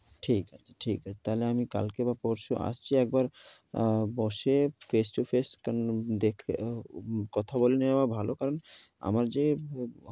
ঠিক আছে, ঠিক আছে। তাইলে আমি কালকে বা পরশু আসছি একবার। বসে face to face কন~ দেখে~ ও~ কথা বলে নেওয়া ভালো। কারণ আমার যে